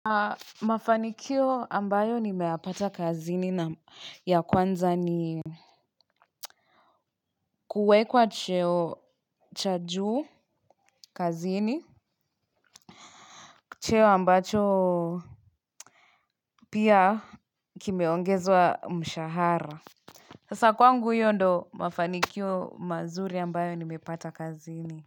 Mafanikio ambayo nimeyapata kazini ya kwanza ni kuwekwa cheo cha juu kazini. Cheo ambacho pia kimeongezwa mshahara. Sa kwangu hiyo ndio mafanikio mazuri ambayo ni mepata kazini.